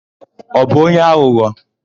Ọ bụ onye aghụghọ?